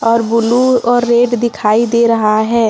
और ब्लू और रेड दिखाई दे रहा है।